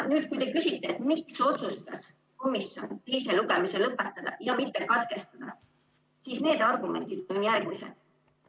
Nüüd kui te küsite, miks otsustas komisjon teise lugemise lõpetada ja mitte katkestada, siis need argumendid on järgmised.